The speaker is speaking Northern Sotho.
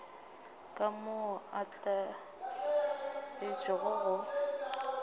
ka moo a tlwaetšego go